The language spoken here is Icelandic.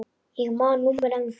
Ég man númerið ennþá.